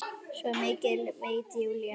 Svo mikið veit Júlía.